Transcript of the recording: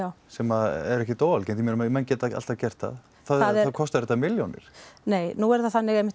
sem er ekkert óalgengt ég meina menn geta alltaf gert það þá kostar þetta milljónir nei nú er það þannig